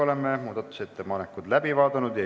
Oleme muudatusettepanekud läbi vaadanud.